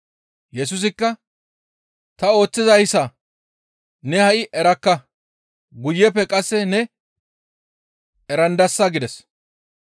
Yesusikka, «Tani ooththizayssa ne ha7i erakka; guyeppe qasse ne erandasa» gides.